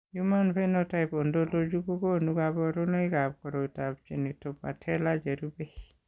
Human Phenotype Ontology kokonu kabarunoikab koriotoab Genitopatellar cherube.